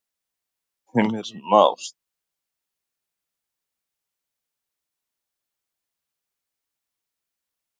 Heimir Már:. tala um þetta sem hefur verið kallað þétta byggð?